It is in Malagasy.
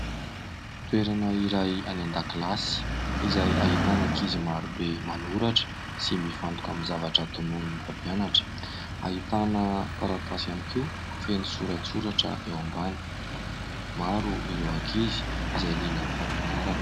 Toerana iray any an-dakilasy izay ahitana ankizy marobe manoratra sy mifantoka amin'ny zavatra tononon'ny mpampianatra. Ahitana taratasy ihany koa feno soratsoratra eo ambany. Maro ireo ankizy izay liana amin'ny fampianarana.